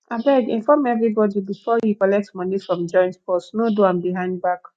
abeg inform everybody before you collect money from joint purse no do am behind back